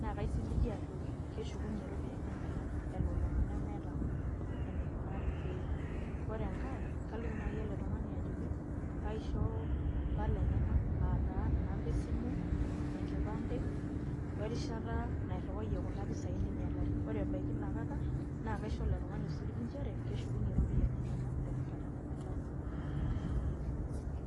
naa kaisiligie ajoki keshukuye iropiyiani enyenak. elulung'a nemeeta enikunari pee epuo. ore enkae kaliki naai ele tungani ajoki pee aisho mpala, enyenak aataa inamba esimu, enkipande werishata nairiwayie kuna ropiyiani ning'ialari. ore ebaiki ina kata naa kaisho ele tugani osiligi nchere, keshukunye iropiiyiani enyenak terishatta nemelakua.